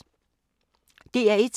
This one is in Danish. DR1